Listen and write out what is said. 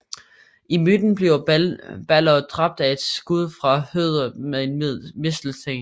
I myten bliver Balder dræbt af et skud fra Høder med en mistelten